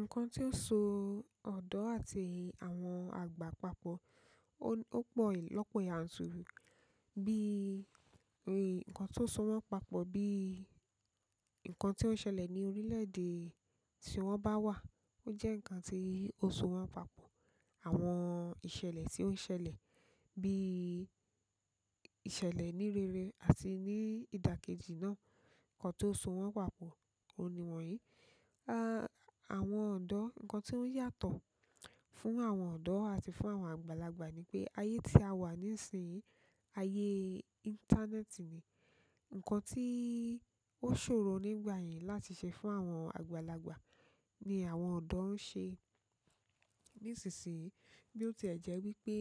Nǹkan tó so ọ̀dọ́ àti àwọn àgbà papọ̀, ó pọ̀ lọ́pọ̀ yànturí. Ǹkan tó so wọ́n papọ̀ bí i ǹkan tó ṣẹlẹ̀ ní orílẹ̀ èdè tí wọ́n bá wà, ó jẹ́ ǹkan tí ó so wọ́n papọ̀. Àwọn ìṣẹ̀lẹ̀ tí ó ń ṣẹlẹ̀ bí ìṣẹ̀lẹ̀ ní rere àti ní ìdàkejì náà, ǹkan tó so wọ́n papọ̀, òhun ni wọ̀nyí. Àwọn ọ̀dọ́, ǹkan tó ń yàtọ̀ fún àwọn ọ̀dọ́ àti fún àwọn àgbàlagbà ni pé ayé tí a wà nísinyí, ayé íńtánẹ́ẹ̀tì ni ǹkan tí ó ṣòro nígbà yẹn láti ṣe fún àwọn àgbàlagbà ni àwọn ọ̀dọ́ ń ṣe nísinsinyí. Bí ó ti jẹ́ wípé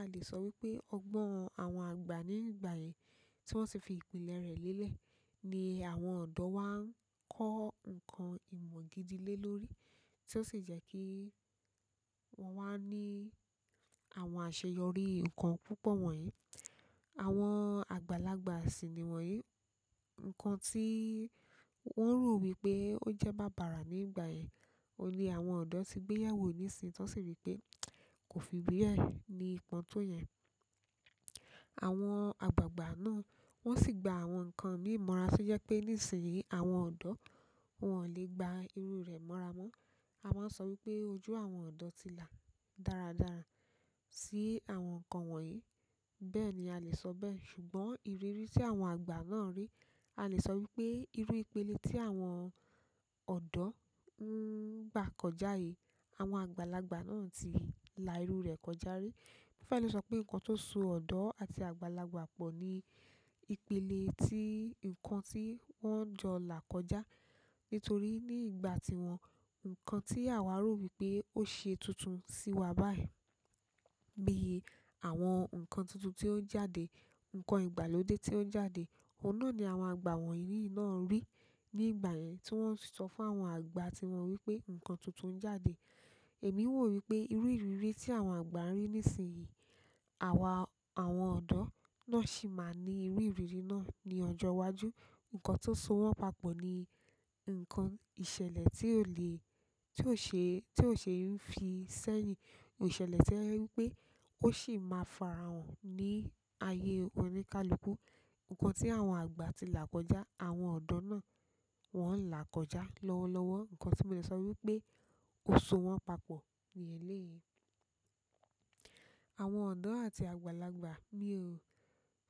a lè sọ wípé ọgbọ́n àwọn àgbà nígbà yẹn tí wọ́n ti fi ìpìlẹ̀ rẹ̀ lélẹ̀ ni àwọn ọ̀dọ́ wá ń kọ́ ǹkan ìmọ̀ gidi lé lórí tí ó sì jẹ́ kí wọ́n wá ní àwọn àṣeyọrí ǹkan púpọ̀ wọ̀nyí. Àwọn àgbàlagbà sì ni wọ̀nyí. Ǹkan tí wọ́n rò wípé ó jẹ́ bábara nígbà yẹn, òun ní àwọn ọ̀dọ́ ti gbéyàwó nísinsìnyí tí wọ́n sì rí i pé kò fi bẹ ní ipọn tó yẹn. Àwọn àgbàgbà náà wọ́n sì gba àwọn ǹkan míì mọ̀ra tí ó jẹ́ pé nísinsìnyí àwọn ọ̀dọ́ wọn ò lè gba iru rẹ̀ mọ́ra mọ́. A máa ń sọ wípé ojú àwọn ọ̀dọ́ ti là dáradára sí àwọn ǹkan wọ̀nyí. Bẹ́ẹ̀ ni a lè sọ bẹ́ẹ̀ ṣùgbọ́n ìrírí tí àwọn àgbà náà rí, a lè sọ wípé irú ìpele tí àwọn ọ̀dọ́ ń gbà kọjá yìí, àwọn àgbàlagbà náà ti là irú rẹ̀ kọjá rí. Mo fẹ́ẹ̀ lè sọ pé ǹkan tó so ọ̀dọ́ àti àgbàlagbà pọ̀ ni ìpele tí ǹkan tí wọ́n jọ là kọjá. Nítorí ní ìgbà tiwọn, ǹkan tí àwa rò wípé ó ṣe tuntun sí wa báyìí bí i àwọn ǹkan tuntun tí ó ń jáde, ǹkan ìgbàlódé tí ó ń jáde, òun na ni àwọn àgbà wọ̀nyí náà rì nígbà yen tí wọ́n sì sọ fún àwọn àgbà tiwọn wípé ǹkan tuntun ń jáde. Èmi rò wípé irú ìrírí tí àwọn àgbá rí nísinsìnyí, awa àwọn ọ̀dọ́ náà sì máa ní irú ìrírí náà ní ọjọ́ iwájú. Ǹkan tó so wọ́n papọ̀ ni ǹkan ìṣẹ̀lẹ̀ tí ò lẹ́, tí ò ṣe, tí ò ṣe é fi sẹ́yìn. Ìṣẹ̀lẹ̀ tí o jẹ wípé ó sì máa fara hàn ní ayé oníkálukú. Ǹkan tí àwọn àgbà ti là kọjá, àwọn ọ̀dọ́ náà wọ́n ń là kọjá lọ́wọ́lọ́wọ́. Ǹkan tí mo lè sọ wípé ó so wọ́n papọ̀ ní eléyìí. Àwọn ọ̀dọ́ àti àgbàlagbà, mi ò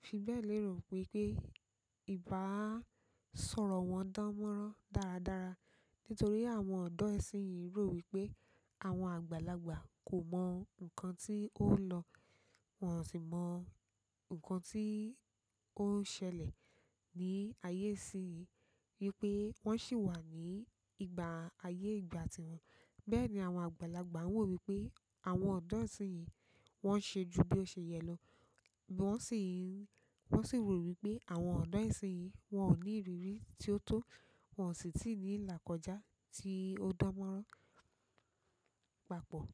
fi bẹ́ẹ̀ lérò wípé i báà sọ̀rọ̀ wọn dánmọ́rán dáradára nítorí àwọn ọ̀dọ́ ìsinsìnyí rò wípé àwọn àgbàlagbà kò mọ ǹkan tí ó n lọ, wọn ò sì mọ ǹkan tí ó ń ṣẹlẹ̀ ní ayé ìsinsìnyí wípé wọn sì wà ní ìgbà ayé ìgbà tiwọn. Bẹ́ẹ̀ ni àwọn àgbàlagbà wọ wípé àwọn ọ̀dọ́ ìsinsìnyí wọ́n ṣe ju bí o ṣe yẹ lọ bí wọ́n sì, wọn sì rò wípé àwọn ọ̀dọ́ ìsinsìnyí wọn ò ní ìrírí tí ó tó, wọn ò sì tí ì ní ilà kọjá tí ó dánmọ́rán papọ̀.